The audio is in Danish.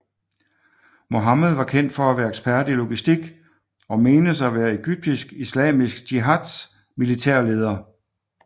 Mohammed var kendt for at være ekspert i logistik og menes at være Egyptisk Islamisk Jihad militære leder